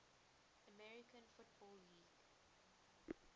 american football league